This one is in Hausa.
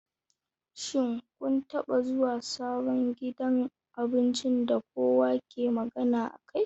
Shin kun taɓa zuwa sabon gidan abincin da kowa ke magana akai?